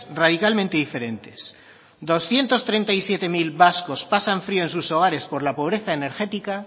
radicalmente diferentes doscientos treinta y siete mil vascos pasan frio en sus hogares por la pobreza energética